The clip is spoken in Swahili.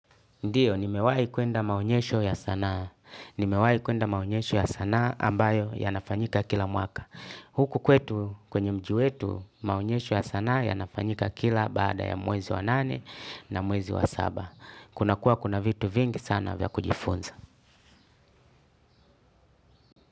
Ndio, nimewahi kuenda maonyesho ya sanaa, nimewahi kuenda maonyesho ya sanaa ambayo yanafanyika kila mwaka. Huku kwetu kwenye mji wetu, maonyesho ya sanaa yanafanyika kila baada ya mwezi wa nane na mwezi wa saba. Kuna kuwa kuna vitu vingi sana vya kujifunza.